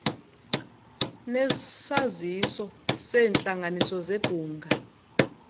nesaziso seentlanganiso zebhunga